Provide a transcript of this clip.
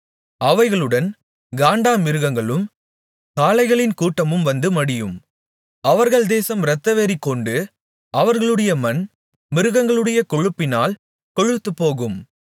அவைகளுடன் காண்டாமிருகங்களும் காளைகளின் கூட்டமும்வந்து மடியும் அவர்கள் தேசம் இரத்தவெறிகொண்டு அவர்களுடைய மண் மிருகங்களுடைய கொழுப்பினால் கொழுத்துப்போகும்